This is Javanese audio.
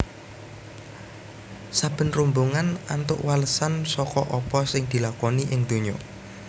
Saben rombongan antuk walesan saka apa sing dilakoni ing donya